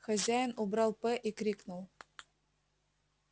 хозяин убрал п и крикнул